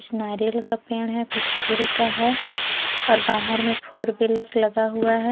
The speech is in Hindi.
नारियल का पेड़ है कुछ फूल का है और बाहर में फोरविलर लगा हुआ है।